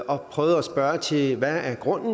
og prøvet at spørge til hvad grunden